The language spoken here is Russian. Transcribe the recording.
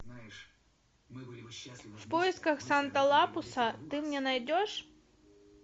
в поисках санта лапуса ты мне найдешь